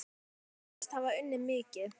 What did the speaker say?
Þeir sögðust hafa unnið mikið.